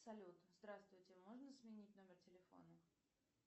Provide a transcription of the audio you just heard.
салют здравствуйте можно сменить номер телефона